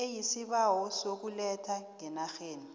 eisibawo sokuletha ngenarheni